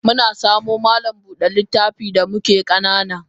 Muna samo malam Buda littafi da muke kanana.